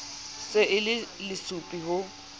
se e le lesupi ho